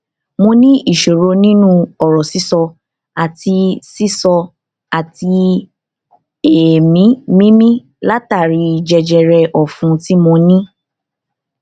mo ní ìṣòro nínú ọrọ sísọ àti sísọ àti èémí mímí látàri jẹjẹrẹ ọfun tí mo ní